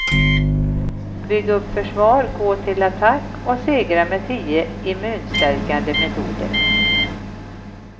Bygg upp försvar, gå till attack och segra med tio immunstärkande metoder.